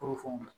Kɔrɔ fɛnw na